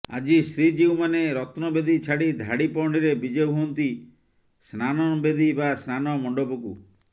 ଆଜି ଶ୍ରୀଜୀଉମାନେ ରତ୍ନବେଦି ଛାଡି ଧାଡି ପହଣ୍ଡିରେ ବିଜେ ହୁଅନ୍ତି ସ୍ନାନବେଦି ବା ସ୍ନାନ ମଣ୍ଡପକୁ